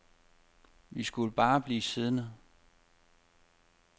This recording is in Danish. Vi skulle bare blive siddende.